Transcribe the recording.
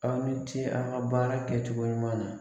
Aw ni ce a ka baara kɛ cogo ɲuman na.